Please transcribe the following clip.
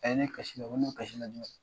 A ye ne ye kasinla ko ne bɛ kasil jumɛn na?